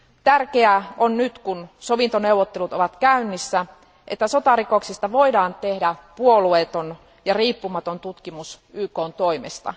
Tärkeää on nyt, kun sovintoneuvottelut ovat käynnissä, että sotarikoksista voidaan tehdä puolueeton ja riippumaton tutkimus YKn toimesta.